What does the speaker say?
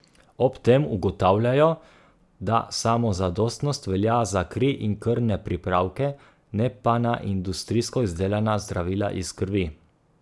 Ob tem ugotavljajo, da samozadostnost velja za kri in krvne pripravke, ne pa na industrijsko izdelana zdravila iz krvi.